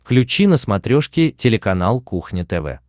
включи на смотрешке телеканал кухня тв